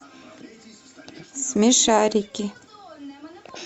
смешарики